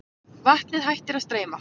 Vatnið hættir að streyma.